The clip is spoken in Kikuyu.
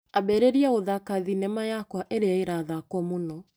Ambĩrĩria gũthaka thinema yakwa ĩrĩa ĩrathakwo mũno.